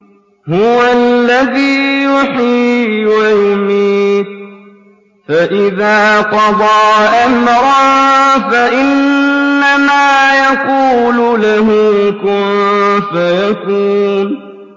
هُوَ الَّذِي يُحْيِي وَيُمِيتُ ۖ فَإِذَا قَضَىٰ أَمْرًا فَإِنَّمَا يَقُولُ لَهُ كُن فَيَكُونُ